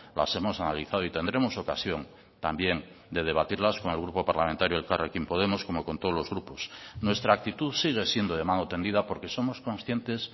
las hemos analizado y tendremos ocasión también de debatirlas con el grupo parlamentario elkarrekin podemos como con todos los grupos nuestra actitud sigue siendo de mano tendida porque somos conscientes